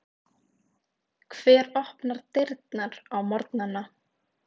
Hver opnar dyrnar á morgnana?